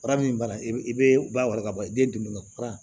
Fura min bana i bɛ bali ka bɔ yen den bolo fara